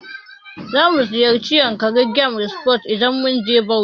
Zamu ziyarci yankari game reserve idan mun je Bauchi.